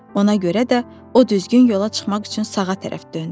Ona görə də o düzgün yola çıxmaq üçün sağa tərəf döndü.